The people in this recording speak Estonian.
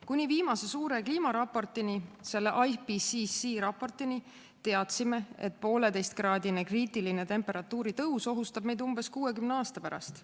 Kuni viimase suure kliimaraportini, IPCC raportini, teadsime, et 1,5- kraadine kriitiline temperatuuri tõus ohustab meid umbes 60 aasta pärast.